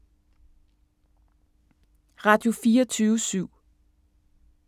Radio24syv